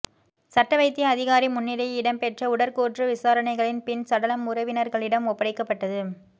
சட்டவைத்திய அதிகாரி முன்னிலையில் இடம்பெற்ற உடற்கூற்று விசாரணைகளின் பின் சடலம் உறவினர்களிடம் ஒப்படைக்கப்பட்டது